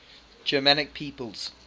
germanic peoples